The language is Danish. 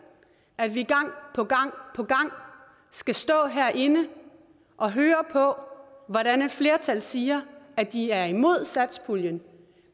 at vi gang på gang skal stå herinde og høre på at et flertal siger at de er imod satspuljen